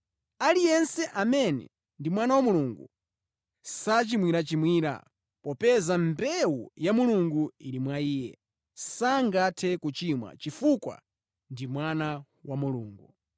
Aliyense amene ndi mwana wa Mulungu, sachimwirachimwira, popeza mbewu ya Mulungu ili mwa iye, sangathe kuchimwa, chifukwa ndi mwana wa Mulungu.